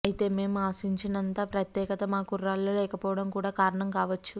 అయితే మేం ఆశించినంత ప్రత్యేకత మా కుర్రాళ్లలో లేకపోవడం కూడా కారణం కావచ్చు